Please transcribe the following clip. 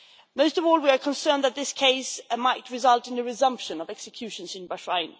Most of all, we are concerned that this case might result in a resumption of executions in Bahrain.